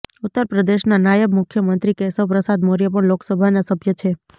ઉત્તરપ્રદેશના નાયબ મુખ્યમંત્રી કેશવ પ્રસાદ મૌર્ય પણ લોકસભાના સભ્ય છે